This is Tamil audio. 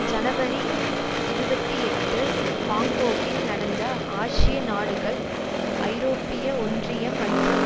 ஜனவரி இருபத்தி எட்டு பாங்கொக்கில் நடந்த ஆசிய நாடுகள் ஐரோப்பிய ஒன்றியம் மற்றும்